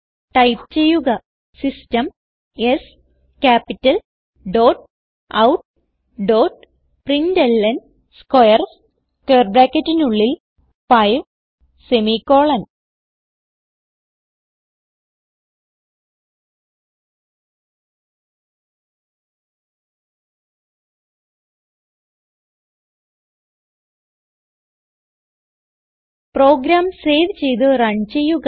type ചെയ്യുക system S capitaloutprintlnസ്ക്വയർസ് 5 program save ചെയ്ത് റൺ ചെയ്യുക